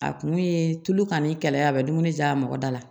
A kun ye tulu ka ɲi kɛlɛ ye a bɛ dumuni ja a mɔgɔ da la